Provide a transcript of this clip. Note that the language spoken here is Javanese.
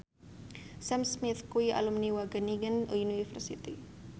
Sam Smith kuwi alumni Wageningen University